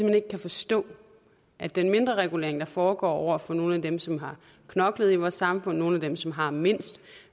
hen ikke kan forstå at den mindreregulering der foregår over for nogle af dem som har knoklet i vores samfund nogle af dem som har mindst